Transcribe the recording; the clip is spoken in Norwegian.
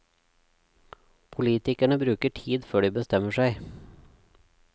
Politikerne bruker tid før de bestemmer seg.